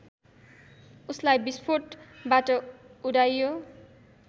उसलाई विस्फोटबाट उडाइयो